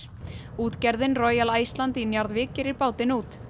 útgerðin Iceland í Njarðvík gerir bátinn út